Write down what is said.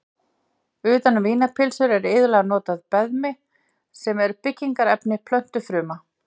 Utan um vínarpylsur er iðulega notað beðmi sem er byggingarefni plöntufruma.